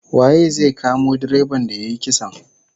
Waye zai kamo direban da yayi kisan?